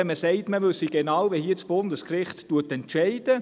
Wenn man sagt, man wisse genau, wie das Bundesgericht hier entscheide …